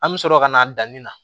An bɛ sɔrɔ ka na danni na